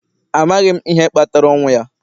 Amaghị m ihe kpatara ọnwụ ya